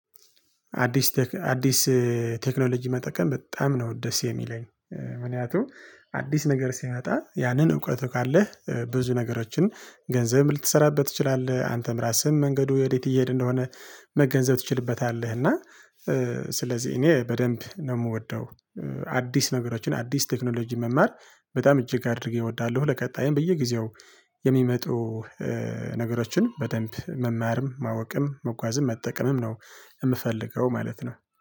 አዲስ ቴክኖሎጂ መጠቀም በጣም ነው ደስ የሚለኝ። ምክንያቱም አዲስ ነገር ሲመጣ ያንን እውቀቱ ካለህ ብዙ ነገሮችን ገንዘብ ልትሰራበት ትችላለህ አንተም ራስህን መንገዱ ወዴት እየሄደ እንደሆነ መገንዘብ ትችልበታለህ እና ስለዚህ እኔ በደንብ ነው ምወደው አዲስ ነገሮችን አዲስ ቴክኖሎጂን መማር በጣም እጅግ አድርጌ እወዳለሁ ለቀጣይም በየጊዜው የሚመጡ ነገሮችን በደንብ መማርም ማወቅም መጓዝም መጠቀምም ነው የምፈልገው ማለት ነው።